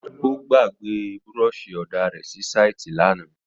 Ó gbà gbẹ búrọsì òdá rẹ sí sàítì làná.